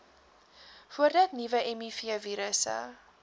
voordat nuwe mivirusse